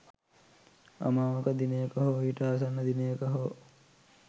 අමාවක දිනයක හෝ ඊට ආසන්න දිනයක හෝ